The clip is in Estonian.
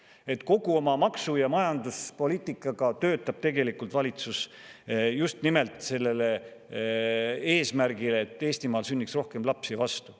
Nii et kogu oma maksu- ja majanduspoliitikaga töötab valitsus just nimelt sellele eesmärgile, et Eestimaal sünniks rohkem lapsi, vastu.